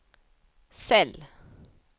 cell